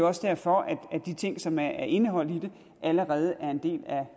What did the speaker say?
også derfor at de ting som er indeholdt i det allerede er en del